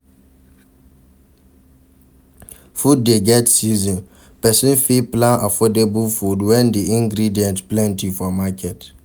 Food dey get season, person fit plan affordable food when di ingredient plenty for market